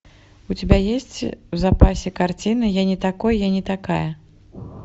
у тебя есть в запасе картина я не такой я не такая